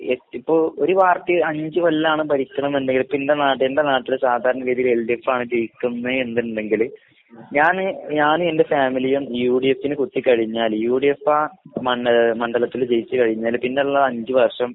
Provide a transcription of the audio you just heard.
എട് ഇപ്പൊ ഒരു പാർട്ടി അഞ്ച് കൊല്ലാണ് ഭരിക്കണേന്ന്ണ്ടെങ്കില് പിന്നെ നാ എന്റെ നാട്ടില് സാധാരണ ഗതീല് എൽഡിഎഫാണ് ജയിക്കുന്നേ എന്ന്ണ്ടെങ്കില് ഞാന് ഞാനും എന്റെ ഫാമിലിയും യുഡിഎഫിന് കുത്തിക്കഴിഞ്ഞാല് യുഡിഎഫാ മണ്ണ് മണ്ഡലത്തില് ജയിച്ച് കഴിഞ്ഞാല് പിന്നെള്ള അഞ്ച് വർഷം